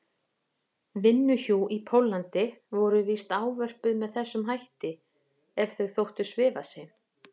vinnuhjú í Póllandi voru víst ávörpuð með þessum hætti ef þau þóttu svifasein.